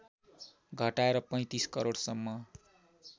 घटाएर ३५ करोडसम्म